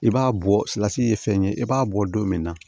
I b'a bɔ salati ye fɛn ye i b'a bɔ don min na